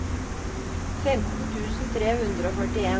femten tusen tre hundre og førtien